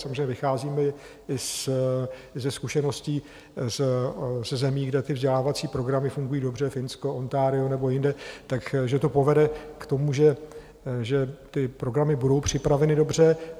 Samozřejmě vycházíme i ze zkušeností ze zemí, kde vzdělávací programy fungují dobře, Finsko, Ontario nebo jinde, tak že to povede k tomu, že ty programy budou připraveny dobře.